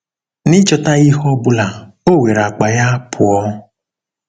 N'ịchọtaghị ihe ọ bụla, o were akpa ya pụọ!